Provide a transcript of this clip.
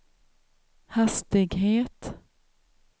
hastighet